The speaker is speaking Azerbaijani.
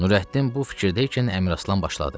Nurəddin bu fikirdə ikən Əmraslan başladı.